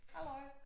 Halløj